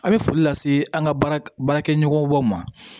A bɛ foli lase an ka baara baarakɛ ɲɔgɔnbaw ma